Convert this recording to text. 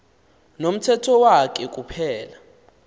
nomthetho wakhe kuphela